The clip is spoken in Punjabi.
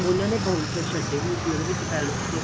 ਉਹਨਾ ਨੇ bouncer ਛੱਡੇ ਹੋਏ ਸੀ ਉਹਦੇ ਵਿੱਚ palace ਚ